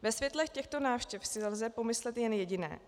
Ve světle těchto návštěv si lze pomyslet jen jediné.